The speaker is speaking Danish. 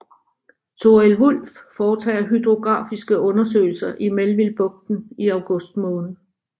Thorild Wulff foretager hydrografiske undersøgelser i Melvillebugten i august måned